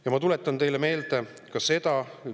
Ja ma tuletan teile meelde ka seda.